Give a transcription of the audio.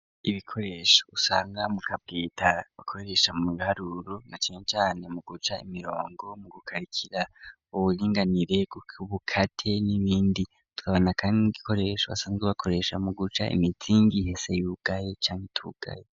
Ibikoresho usanga mu kabwita bakoresha mu iharuro na canecane mu guca imirongo mu gukarikira uburinganire kukubukate n'ibindi tukabona kandi nigikoresho asanzwe bakoresha mu guca imitingi ihese y'ubugaye cane tugaye.